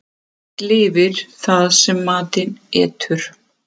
Allt lifir það sem matinn etur.